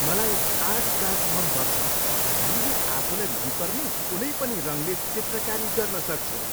मलाई art class मन पर्छ। हामीले आफूलाई मनपर्ने कुनै पनि रङले चित्रकारी गर्न सक्छौँ।